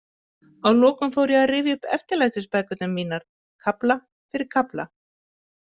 Að lokum fór ég að rifja upp eftirlætisbækurnar mínar, kafla fyrir kafla.